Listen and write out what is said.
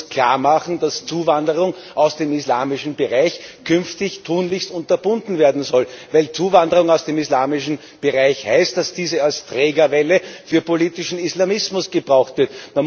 Man muss klarmachen, dass Zuwanderung aus dem islamischen Bereich künftig tunlichst unterbunden werden soll, weil Zuwanderung aus dem islamischen Bereich heißt, dass diese als Trägerwelle für politischen Islamismus gebraucht wird.